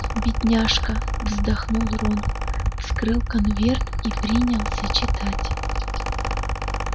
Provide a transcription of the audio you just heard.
бедняжка вздохнул рон вскрыл конверт и принялся читать